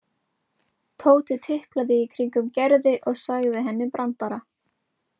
Tóti tiplaði í kringum Gerði og sagði henni brandara.